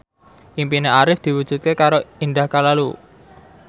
impine Arif diwujudke karo Indah Kalalo